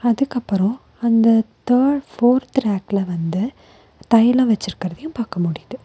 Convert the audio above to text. அதுக்கப்பறோ அந்த third fourth ரேக்ல வந்து தைலோ வெச்சிருக்கறதயு பாக்க முடியிது.